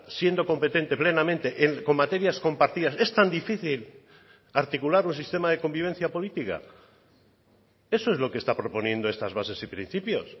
siendo competente plenamente en con materias compartidas es tan difícil articular un sistema de convivencia política eso es lo que está proponiendo estas bases y principios